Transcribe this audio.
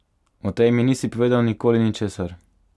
O tej mi nisi povedal nikoli ničesar!